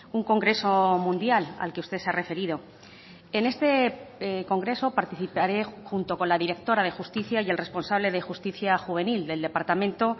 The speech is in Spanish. un congreso mundial al que usted se ha referido en este congreso participaré junto con la directora de justicia y el responsable de justicia juvenil del departamento